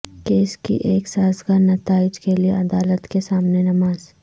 case کی ایک سازگار نتائج کے لئے عدالت کے سامنے نماز